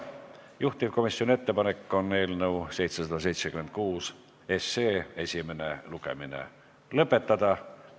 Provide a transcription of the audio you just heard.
Juhtivkomisjoni ettepanek on eelnõu 776 esimene lugemine lõpetada.